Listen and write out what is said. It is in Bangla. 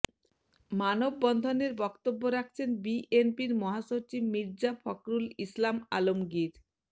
মানববন্ধেন বক্তব্য রাখছেন বিএনপির মহাসচিব মির্জা ফখরুল ইসলাম আলমগীর